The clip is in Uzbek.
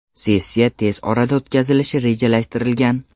Sessiya tez orada o‘tkazilishi rejalashtirilgan.